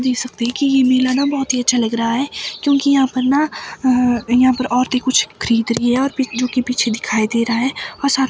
देख सकते है की ये मेला ना बहोत ही अच्छा लग रहा है क्योंकि यहां पर ना अ यहां पर औरते कुछ खरीद रही है और बिट्टू की पीछे दिखाई दे रहा है और साथ--